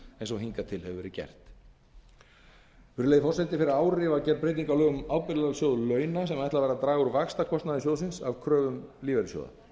eins og hingað til hefur verið gert ábyrgðarsjóður launa virðulegi forseti fyrir ári var gerð breyting á lögum um ábyrgðarsjóð launa sem ætlað var að draga úr vaxtakostnaði sjóðsins af kröfum lífeyrissjóða